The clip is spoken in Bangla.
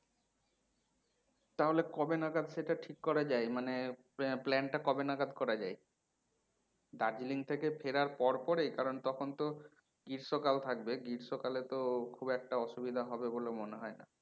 তাহলে কবে নাগাদ সেটা ঠিক করা যাই মানে plan টা কবে নাগাদ করা যাই? দার্জিলিং থেকে ফেরার পর পরেই কারণ তখন তো গ্রীস্মকাল থাকবে গ্রীস্মকালে তো খুব একটা অসুবিধা হবে বলে মনে হয় না